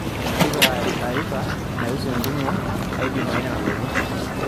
tipika arifa naihusu entumo ai jumaine nalotu